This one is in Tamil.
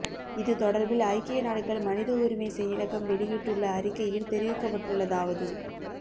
இது தொடர்பில் ஐக்கிய நாடுகள் மனித உரிமை செயலகம் வெ ளியிட்டுள்ள அறிக்கையில் தெரிவிக்கப்பட்டுள்ளதாவது